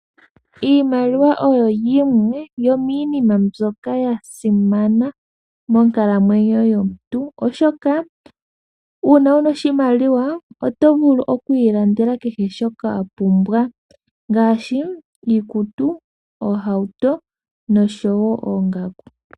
Iimaliwa oyo yimwe yominima mbyoka yasimana monkalamwenyo yomuntu, oshoka una wuna oshimaliwa otovulu oku ilandela kehe shoka wapumbwa ngaashi iikutu, oohauto nosho wo oongaku.